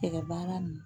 Tɛgɛ baara nin